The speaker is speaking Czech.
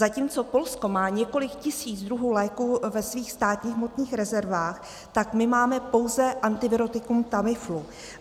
Zatímco Polsko má několik tisíc druhů léků ve svých státních hmotných rezervách, tak my máme pouze antivirotikum Tamiflu.